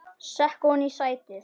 Sekk ofan í sætið.